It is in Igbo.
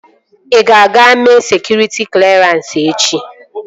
Ị ga-aga mee sekụritị klerans echi?